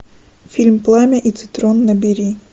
фильм пламя и цитрон набери